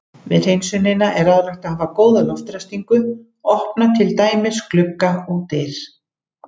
Við hreinsunina er ráðlegt að hafa góða loftræstingu, opna til dæmis glugga og dyr.